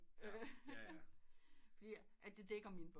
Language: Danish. Fordi det dækker mine behov